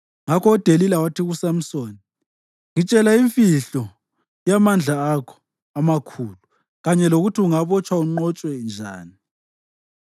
Ngakho uDelila wathi kuSamsoni, “Ngitshela imfihlo yamandla akho amakhulu kanye lokuthi ungabotshwa unqotshwe njani.”